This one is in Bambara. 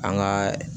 An ka